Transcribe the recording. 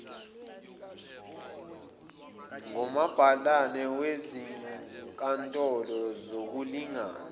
ngomabhalane bezinkantolo zokulingana